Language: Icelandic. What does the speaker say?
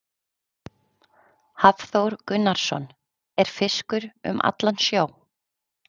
Hafþór Gunnarsson: Er fiskur um allan sjó?